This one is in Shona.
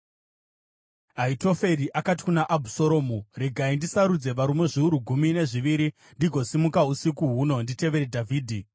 Ahitoferi akati kuna Abhusaromu, “Regai ndisarudze varume zviuru gumi nezviviri ndigosimuka usiku huno nditevere Dhavhidhi.